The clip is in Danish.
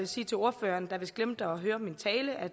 sige til ordføreren der vist glemte at høre min tale at